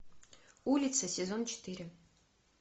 улица сезон четыре